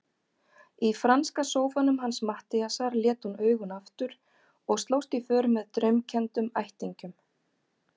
Í franska sófanum hans Matthíasar lét hún augun aftur og slóst í för með draumkenndum ættingjum.